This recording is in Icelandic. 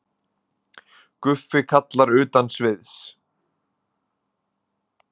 Guffi kallar utan sviðs.